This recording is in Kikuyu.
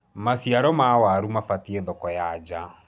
maciaro ma waru mabatie thoko ya njaa